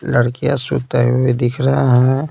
लड़कियां सोते हुए दिख रही है।